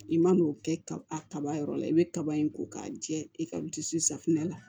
I man'o kɛ ka a kaba yɔrɔ la i bɛ kaba in ko k'a jɛ i ka dusu safunɛ la